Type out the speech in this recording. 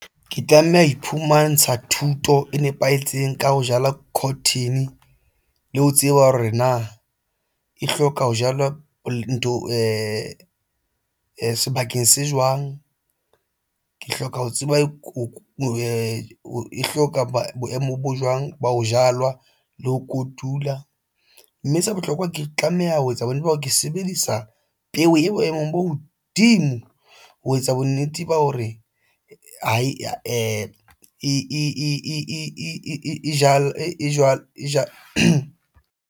Ke tlameha ho iphumantsha thuto e nepahetseng ka ho jala cotton le ho tseba hore na e hloka ho jalwa ntho sebakeng se jwang ke hloka ho tseba e hloka boemo bo jwang ba ho jalwa le ho kotula, mme se bohlokwa ke tlameha ho etsa bonnete ba hore ke sebedisa peo e boemong bo hodimo ho etsa bonnete ba hore ha e jwalo .